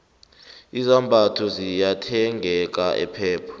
izambatho ziyathengeka epep